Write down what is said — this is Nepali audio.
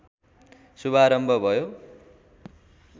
शुभारम्भ भयो